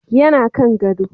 yana Kan gado